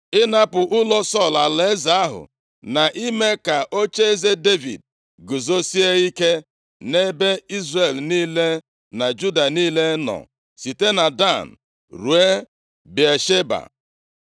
Ịnapụ ụlọ Sọl alaeze ahụ, na ime ka ocheeze Devid guzosie ike nʼebe Izrel niile na Juda niile nọ, site na Dan ruo Bịasheba.” + 3:10 Mgbe ọbụla e kwuru otu a, site na Dan ruo Bịasheba, ọ bụ banyere ndị Izrel niile ka a na-ekwu maka ya. Nke a bụ i site na nsọtụ ebe ugwu ruo na nsọtụ ndịda. \+xt Nkp 20:1; 1Sa 3:20; 2Sa 17:11; 1Ez 4:25\+xt*